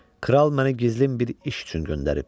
Kral məni gizlin bir iş üçün göndərib.